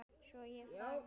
Svo ég þagði.